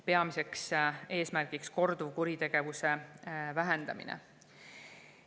Peamine eesmärk on korduvkuritegevuse vähendamine.